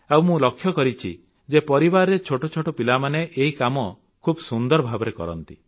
ଆଉ ମୁଁ ଲକ୍ଷ୍ୟ କରିଛି ଯେ ପରିବାରରେ ଛୋଟ ଛୋଟ ପିଲାମାନେ ଏହି କାମ ଖୁବ୍ ସୁନ୍ଦର ଭାବରେ କରନ୍ତି